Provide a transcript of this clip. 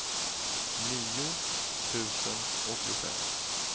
nio tusen åttiofem